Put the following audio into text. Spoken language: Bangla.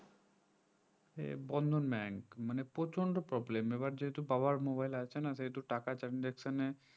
এ বন্ধন bank মানে প্রচন্ড problem এইবার যেহেতু বাবার mobile আছে না সেহেতু টাকা transaction